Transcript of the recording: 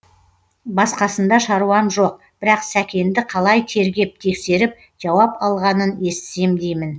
басқасында шаруам жоқ бірақ сәкенді қалай тергеп тексеріп жауап алғанын естісем деймін